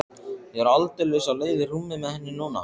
Ég er aldeilis á leið í rúmið með henni núna.